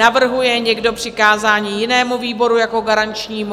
Navrhuje někdo přikázání jinému výboru jako garančnímu?